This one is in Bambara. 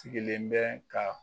Sigilen bɛ ka